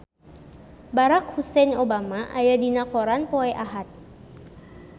Barack Hussein Obama aya dina koran poe Ahad